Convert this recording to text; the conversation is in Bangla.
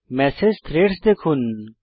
মেসেজ থ্রেড দেখুন